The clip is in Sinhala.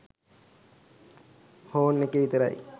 හෝන් එකේ විතරයි